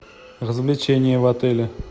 развлечения в отеле